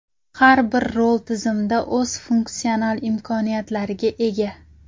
Har bir rol tizimda o‘z funksional imkoniyatlariga ega.